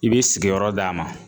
I b'i sigiyɔrɔ d'a ma.